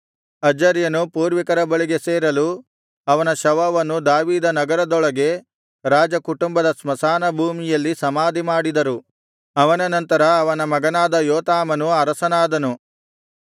ಅಜರ್ಯನು ಪೂರ್ವಿಕರ ಬಳಿಗೆ ಸೇರಲು ಅವನ ಶವವನ್ನು ದಾವೀದ ನಗರದೊಳಗೆ ರಾಜಕುಟುಂಬದ ಸ್ಮಶಾನಭೂಮಿಯಲ್ಲಿ ಸಮಾಧಿಮಾಡಿದರು ಅವನ ನಂತರ ಅವನ ಮಗನಾದ ಯೋತಾಮನು ಅರಸನಾದನು